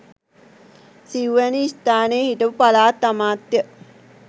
සිව්වැනි ස්ථානය හිටපු පළාත් අමාත්‍ය